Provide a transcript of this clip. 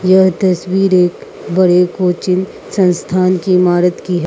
यह तस्वीर एक बड़े कोचिंग संस्थान की इमारत की है।